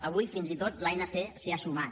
avui fins i tot l’anc s’hi ha sumat